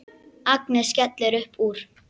Agnes skellir upp úr.